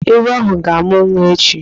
Ee, ewu ahụ ga-amụ nwa echi.